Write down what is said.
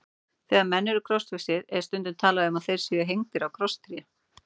Þegar menn eru krossfestir er stundum talað um að þeir séu hengdir á krosstré.